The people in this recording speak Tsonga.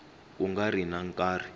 ku nga ri na nkarhi